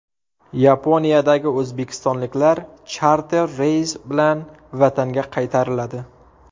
Yaponiyadagi o‘zbekistonliklar charter reys bilan vatanga qaytariladi.